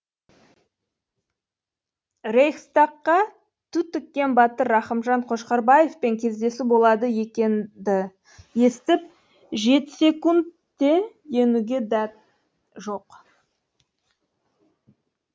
рейхстагқа ту тіккен батыр рахымжан қошқарбаевпен кездесу болады екенді естіп жетіссекте енуге дәт жоқ